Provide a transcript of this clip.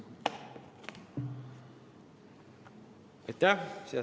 Aitäh!